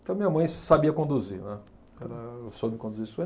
Então, minha mãe sabia conduzir, né. Ela soube conduzir isso